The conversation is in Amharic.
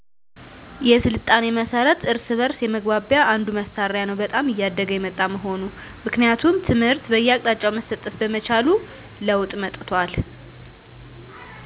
የሥልጣኔ መሠረት እርስ በእርስ የመግባቢያ አንዱ መሣሪያ ነው በጣም እያደገ የመጣ መሆኑ ምክንያቱም ትምህር በየአቅጣጫው መሠጠት በመቻሉ ለወጥ መጠቷል